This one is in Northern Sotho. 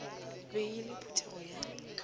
be e le phuthego ya